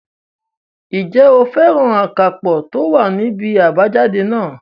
Ǹjẹ́ o fẹ́ràn akápò tó wà ní ibi àbájáde náà?